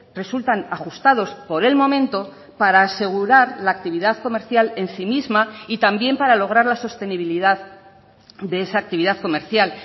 resultan ajustados por el momento para asegurar la actividad comercial en sí misma y también para lograr la sostenibilidad de esa actividad comercial